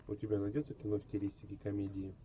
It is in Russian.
у тебя найдется кино в стилистике комедии